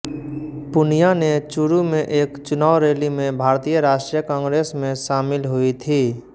पूनिया ने चुरू में एक चुनाव रैली में भारतीय राष्ट्रीय कांग्रेस में शामिल हुई थी